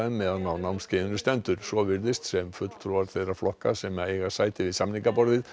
meðan á námskeiðinu stendur svo virðist sem fulltrúar þeirra flokka sem eiga sæti við samningaborðið